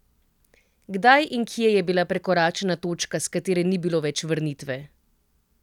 Kdaj in kje je bila prekoračena točka, s katere ni bilo več vrnitve?